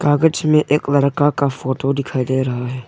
कागज में एक लड़का का फोटो दिखाई दे रहा है।